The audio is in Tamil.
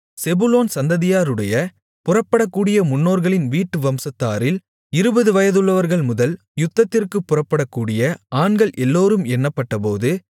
செபுலோன் சந்ததியாருடைய புறப்படக்கூடிய முன்னோர்களின் வீட்டு வம்சத்தாரில் இருபது வயதுள்ளவர்கள்முதல் யுத்தத்திற்குப் புறப்படக்கூடிய ஆண்கள் எல்லோரும் எண்ணப்பட்டபோது